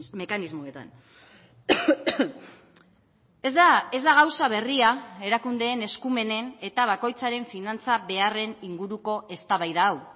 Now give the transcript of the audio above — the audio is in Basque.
mekanismoetan ez da gauza berria erakundeen eskumenen eta bakoitzaren finantza beharren inguruko eztabaida hau